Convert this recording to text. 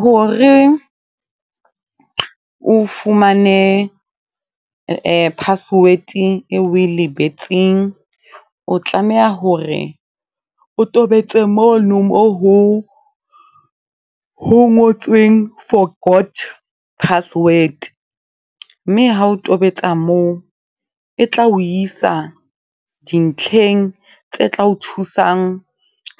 Hore o fumane password eo o e lebetseng, o tlameha hore o tobetse mono moo ho ngotsweng forgot password. Mme ha o tobetsa moo, e tla o isa dintlheng tse tla o thusang